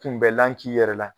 Kunbɛnlan k'i yɛrɛ la